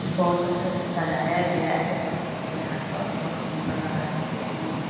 बहुत अच्छा से सजाया गया है सब कुछ यहाँ पर बहुत सुंदर लग रहा है देखने में।